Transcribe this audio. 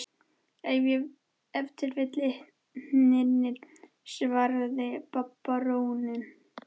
Ef til vill litirnir, svaraði baróninn.